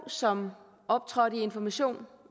som optrådte i information